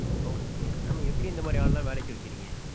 Okay mam எப்பிடி இந்த மாதிரி ஆள எல்லாம் வேலைக்கு வைக்குறீங்க?